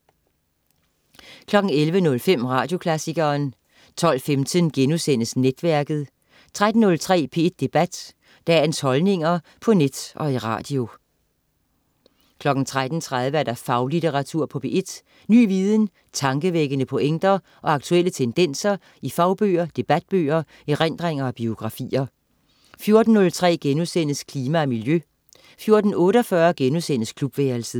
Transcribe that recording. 11.05 Radioklassikeren 12.15 Netværket* 13.03 P1 Debat. Dagens holdninger på net og i radio 13.30 Faglitteratur på P1. Ny viden, tankevækkende pointer og aktuelle tendenser i fagbøger, debatbøger, erindringer og biografier 14.03 Klima og miljø* 14.48 Klubværelset*